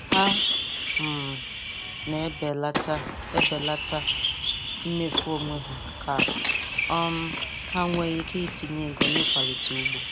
Ha um na e belata e belata mmefu onwe ha, ka um ha nwee ike itinye ego n’ịkwalite ugbo.